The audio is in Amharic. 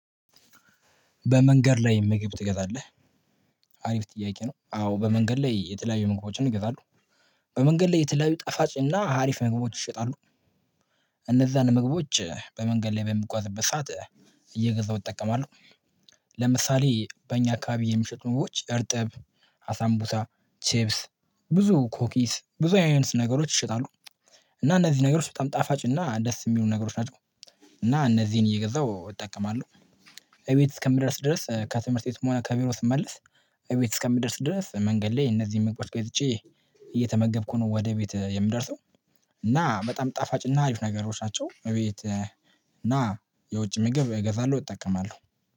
በመንገድ ላይ ምግብ ትገዛለህ አሪፍ ጥያቄ ነው? አዎ በመንገድ ላይ የተለያዩ ምግቦችን እገዛለሁ። በመንገድ ላይ የተለያዩ ጣፋጭ እና ሀሪፍ ነገሮች ይሸጣሉ። እነዛን መግቦች በመንገድ ላይ በምጓዝበት ሰዓት እየገዛሁ እጠቀማለሁ። ለምሳሌ በእኛ አካባቢ የምሽጡ መግቦች እርጥብ አሳምቡሳ ቼፕስ ብዙ ኮኪስ ብዙ አይነት ነገሮች ይሸጣሉ። እና እነዚህ ነገሮች በጣም ጣፋጭ እና ደስ የሚሉ ነገሮች ናቸው። እና እነዚህን እየገዛሁ እጠቀማለሁ። እቤት እስከምደርስ ድረስ ከትምህርት ቤት መሆን ከቢሮ ስመልስ እቤት እስከምደርስ ድረስ መንገድ ላይ እነዚህን መግቦች ገዝቼ እየተመገብኩ ነው ወደ ቤት የምደርሰው። እና በጣም ጣፋጭ እና አሪፍ ነገሮች ናቸው። እቤት እና የውጭ ምግብ እገዛለሁ እጠቀማለሁ